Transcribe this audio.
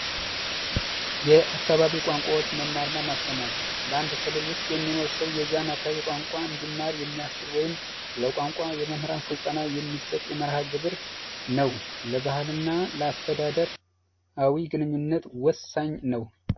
የአካባቢ ቋንቋዎች መማር እና ማስተማር በአንድ ክልል ውሰጥ የሚኖር ሰው የዚያን የሚያስችል ወይም ለመምህራን የቋንቋ ስልጠና የሚሰጥ የመርሃ ግብር ነው። ለባህል እና አስተዳደር ግንኙነት ወሳኝ ነው።